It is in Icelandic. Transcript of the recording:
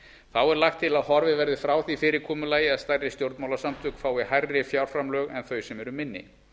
þá er lagt til að horfið verði frá því fyrirkomulagi að stærri stjórnmálasamtök fái hærri fjárframlög en þau sem eru minni